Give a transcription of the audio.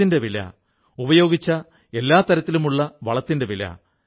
ഇതോടൊപ്പം നന്നായി പ്രവർത്തിക്കുന്ന ഗുജറാത്തിലെ ഭാവ്നഗറിലെയും രണ്ടു സ്ഥാപനങ്ങളെക്കുറിച്ചറിയാം